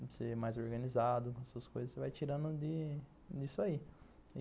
Você é mais organizado com as suas coisas, você vai tirando disso aí.